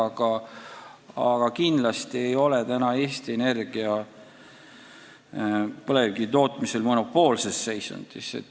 Nii et kindlasti ei ole Eesti Energia põlevkivi tootmisel monopoolses seisundis.